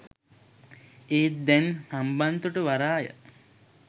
ඒත් දැන් හම්බන්තොට වරාය